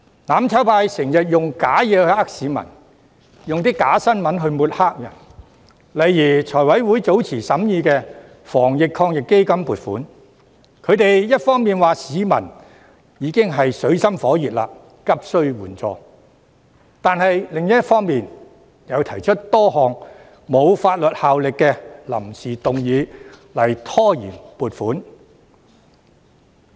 "攬炒派"經常用虛假的事情欺騙市民，又用假新聞抹黑別人，例如財務委員會早前審議防疫抗疫基金撥款時，他們一方面指市民已經處於水深火熱，急須援助，但另一方面卻提出多項沒有法律效力的臨時議案拖延撥款。